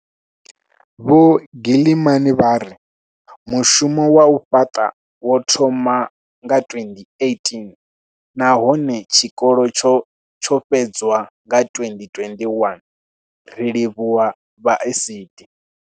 Vho Gilman vha ri Mushumo wa u fhaṱa wo thoma 2018 nahone tshikolo tsho fhedzwa nga 2021, ri livhuwa vha ASIDI.